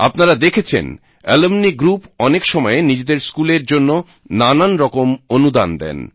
আপনারা দেখেছেন alumni group অনেক সময়ে নিজেদের স্কুলের জন্য নানা রকম অনুদান দেন